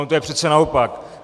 Ono je to přece naopak.